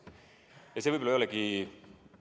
Ja see võib-olla ei olegi ...